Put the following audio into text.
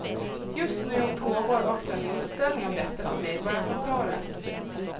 Just nu pågår också en utställning om detta på medborgarkontoret.